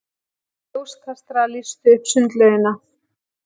Ljóskastarar lýstu upp sundlaugina.